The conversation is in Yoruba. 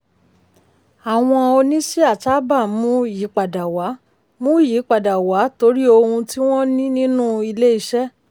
àwọn oníṣíà sábà ń mú ayípadà wá mú ayípadà wá torí ohun tí wọ́n ní nínú ilé-iṣẹ́.